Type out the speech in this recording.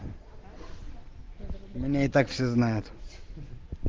меня и так все знают